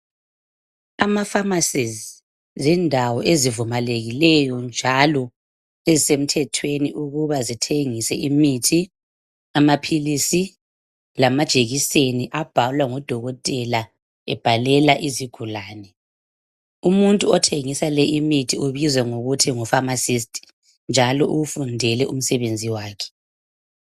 Ama-pharmacies zindawo ezivumelekilwyo njalo ezisemthethweni ukuba zithengise imithi amaphilisi lamajekiseni abhalwa ngodokotela ebhalela izigulane. Umuntu othengisa le imithi ubizwa ngokuthi ngu pharmacist njalo uwufundele umsebenzi wakhe.